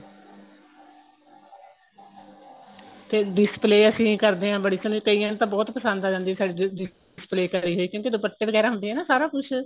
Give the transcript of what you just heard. ਤੇ display ਅਸੀਂ ਕਰਦੇ ਆ ਬੜੀ ਸੋਹਣੀ ਕਈਆਂ ਨੂੰ ਤਾਂ ਬਹੁਤ ਪਸੰਦ ਆ ਜਾਂਦੀ ਏ ਸਾਡੀ display ਕਰੀ ਹੋਈ ਕਿਉਂਕਿ ਦੁਪੱਟੇ ਵਗੈਰਾ ਹੁੰਦੇ ਏ ਨਾ ਸਾਰਾ ਕੁੱਝ